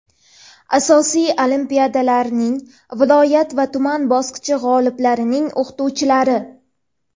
asosiy olimpiadalarning viloyat va tuman bosqichi g‘oliblarining o‘qituvchilari;.